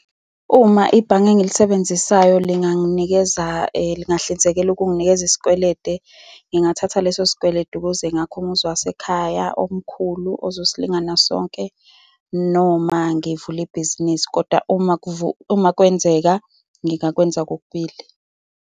Uma ibhange engilisebenzisayo linganginikeza, lingangihlinzekela ukunginikeza isikweledu, ngingathatha leso sikweletu ukuze ngakhe umuzi wasekhaya omkhulu, ozosilingana sonke, noma ngivule ibhizinisi, kodwa uma kwenzeka, ngingakwenza kokubili.